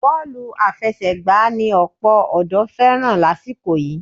Bọ́ọ̀lù àfẹsẹ̀gbà ni ọ̀pọ̀ ọ̀dọ́ fẹ́ràn lásìkò yìí